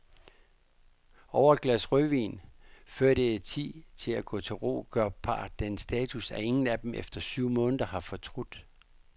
Over et glas rødvin, før det er tid at gå til ro, gør parret den status, at ingen af dem efter syv måneder har fortrudt.